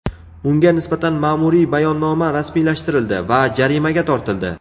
Unga nisbatan ma’muriy bayonnoma rasmiylashtirildi va jarimaga tortildi.